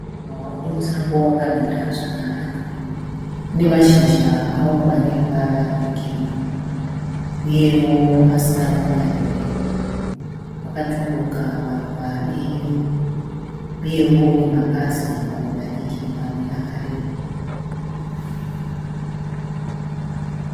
Muruva uri musango wakamira zvakanaka. Une mashizha awo ane ruvara rwegirini uyewo asina kunyanyoreba. Wakatumbuka maruva eyero uyewo une mapazi mamwe madiki mamwe akareba.